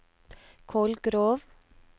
Kolgrov